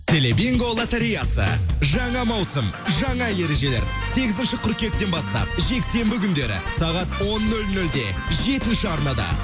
теле бинго лотореясы жаңа маусым жаңа ережелер сегізінші қыркүйектен бастап жексенбі күндері сағат он нөл нөлде жетінші арнада